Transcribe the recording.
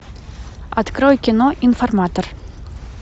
открой кино информатор